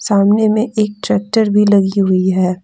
सामने में एक ट्रैक्टर भी लगी हुई है।